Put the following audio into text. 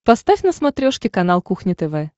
поставь на смотрешке канал кухня тв